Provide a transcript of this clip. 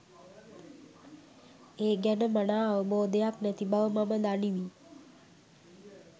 ඒ ගැන මනා අවබෝධයක් නැති බව මම දනිමි.